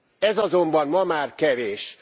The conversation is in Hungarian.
Ez azonban ma már kevés.